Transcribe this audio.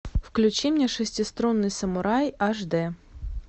включи мне шестиструнный самурай аш д